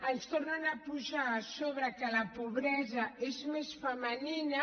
ens tornen a posar a sobre que la pobresa és més femenina